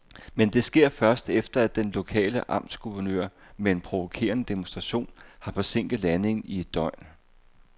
Men det sker først, efter at den lokale amtsguvernør med en provokerende demonstration har forsinket landingen i et døgn.